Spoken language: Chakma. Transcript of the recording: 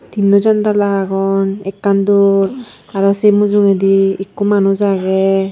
tinno jandla agon ekkan dor aro se mujungedi ikko manuj age.